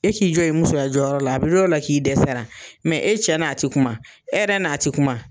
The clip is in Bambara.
E k'i jɔ i musoya jɔyɔrɔ la a bɛ dɔn o la k'i dɛsɛra, mɛ e cɛ n'a tɛ kuma, e yɛrɛ n'a tɛ kuma.